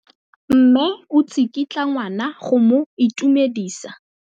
Mme o tsikitla ngwana go mo itumedisa.